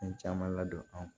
Fɛn caman ladon an